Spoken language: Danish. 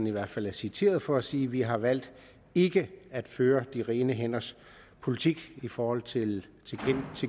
i hvert fald citeret for at sige vi har valgt ikke at føre de rene hænders politik i forhold til